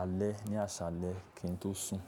alẹ́, ní àsálẹ́ kí n tó sùn.